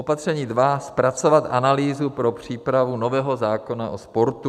Opatření dva - zpracovat analýzu pro přípravu nového zákona o sportu.